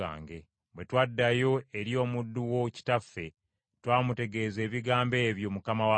Bwe twaddayo eri omuddu wo kitaffe, twamutegeeza ebigambo ebyo, mukama wange.